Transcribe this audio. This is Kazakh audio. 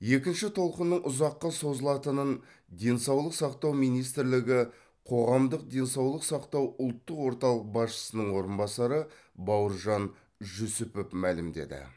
екінші толқынның ұзаққа созылатынын денсаулық сақтау министрлігі қоғамдық денсаулық сақтау ұлттық орталық басшысының орынбасары бауыржан жүсіпов мәлімдеді